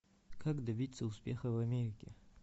как добиться успеха в америке